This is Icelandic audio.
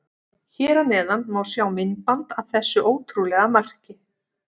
Hér að neðan má sjá myndband af þessu ótrúlega marki.